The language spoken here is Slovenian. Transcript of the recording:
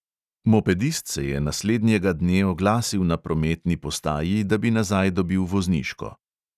Mopedist se je naslednjega dne oglasil na prometni postaji, da bi nazaj dobil vozniško.